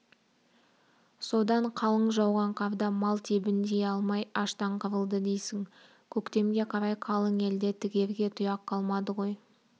содан қалың жауған қарда мал тебіндей алмай аштан қырылды дейсің көктемге қарай қалың елде тігерге тұяқ қалмады ғой